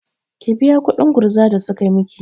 Ki biya kuɗin gurza da suka miki!